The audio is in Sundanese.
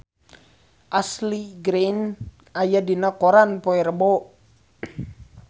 Ashley Greene aya dina koran poe Rebo